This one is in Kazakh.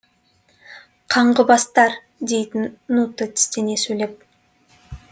қаңғыбастар дейтін нуто тістене сөйлеп